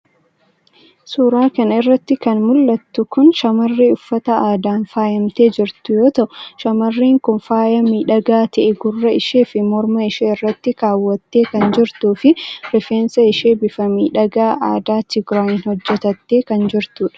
Suura kan irratti kan mul'attu kun shamarree uffata aadaan faayamtee jirtuu yoo ta'u, shamarreen kun faaya miidhagaa ta'e gurra ishee fi morma ishee irratti kaawwattee kan jirtuu fi rifeensa ishee bifa miidhagaa aadaa Tigiraayin hojjetattee kan jirtudha.